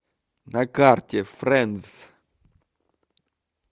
на карте фрэндс